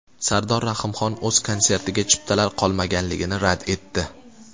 Sardor Rahimxon o‘z konsertiga chiptalar qolmaganligini rad etdi.